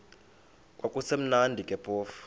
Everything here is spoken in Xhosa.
kwakusekumnandi ke phofu